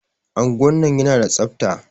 Anguwan nan yana da tsafta.